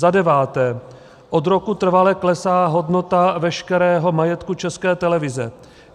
Za deváté: Od roku trvale klesá hodnota veškerého majetku České televize.